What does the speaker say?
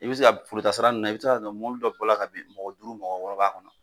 I be se ka foro taa sira nunnu na i be se ka sɔrɔ mɔbili dɔ bɔla ka bin mɔgɔ duuru mɔgɔ wɔɔrɔ b'a kɔnɔ